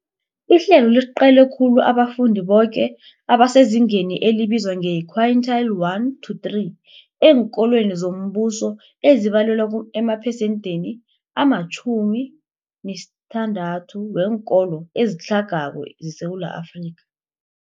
Ihlelo liqale khulu abafundi boke abasezingeni elibizwa nge-quintile 1-3 eenkolweni zombuso, ezibalelwa emaphesenthini ama-60 weenkolo ezitlhagako zeSewula Afrika.